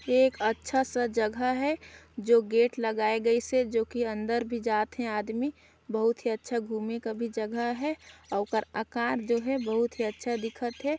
यह एक अच्छा सा जगह है जो गेट लगाय गइस हे जो कि अंदर भी जात हे आदमी बहुत ही अच्छा घूमे कर भी जगह हे अउ ओकर आकार जो हे बहुत ही अच्छा दिखत हे।